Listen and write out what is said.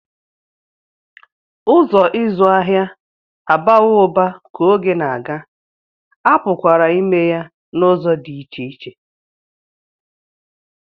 Ụzọ ịzụ ahịa abawo uba ka oge na-aga, a pụkwara ime ya n'ụzọ dị iche iche